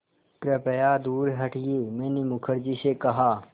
कृपया दूर हटिये मैंने मुखर्जी से कहा